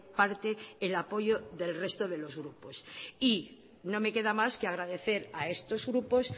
parte el apoyo del resto de los grupos y no me queda más que agradecer a estos grupos